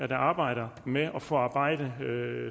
der arbejder med at forarbejde